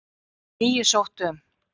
Níu sóttu um